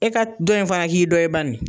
E ka dɔ in faga k'i dɔ ye bani .